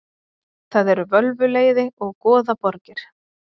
Það eru völvuleiði og goðaborgir.